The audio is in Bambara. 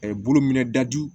bolo minɛ dajugu